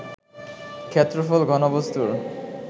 ক্ষেত্রফল, ঘনবস্তুর